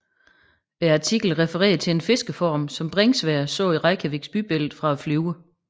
Artiklen refererer til en fiskeform som Bringsværd så i Reykjaviks bybillede fra flyet